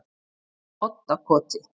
Oddakoti